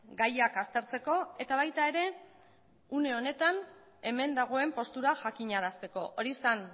gaiak aztertzeko eta baita ere une honetan hemen dagoen postura jakinarazteko hori zen